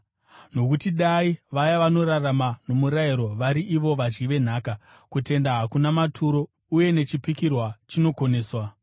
Nokuti dai vaya vanorarama nomurayiro vari ivo vadyi venhaka, kutenda hakuna maturo uye nechipikirwa chinokoneswa,